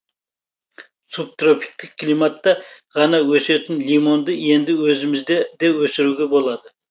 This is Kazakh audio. субтропиктік климатта ғана өсетін лимонды енді өзімізде де өсіруге болады